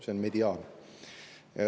See on mediaan.